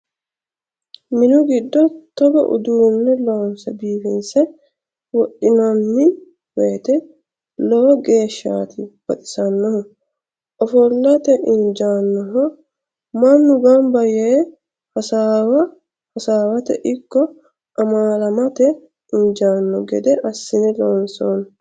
Minu giddo togo uduune loonse biifinse wodhinanni woyte lowo geeshshati baxisanohu ofollate injanoho mannu gamba yee hasaawa hasaawate ikko amaalamate injano gede assine loonsonni.